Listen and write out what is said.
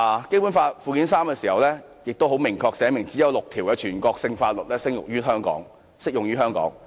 《基本法》附件三明確規定，只有6項全國性法律適用於香港。